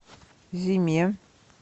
зиме